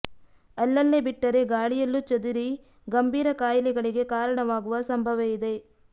ಅಲ್ಲಲ್ಲೇ ಬಿಟ್ಟರೆ ಗಾಳಿಯಲ್ಲೂ ಚದುರಿ ಗಂಭೀರ ಕಾಯಿಲೆಗಳಿಗೆ ಕಾರಣವಾಗುವ ಸಂಭವ ಇದೆ